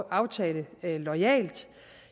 aftale loyalt